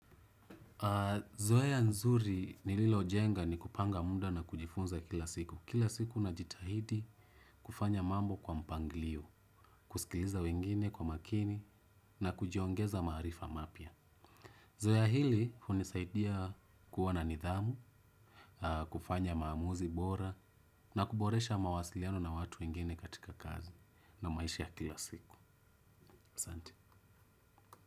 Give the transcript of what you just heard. Zoea nzuri nililo jenga ni kupanga muda na kujifunza kila siku. Kila siku na jitahidi kufanya mambo kwa mpangilio. Kusikiliza wengine kwa makini na kujiongeza maarifa mapya. Zoea hili unisaidia kuwa na nidhamu. Kufanya maamuzi bora. Na kuboresha mawasiliano na watu wengine katika kazi. Na maisha ya kila siku asante.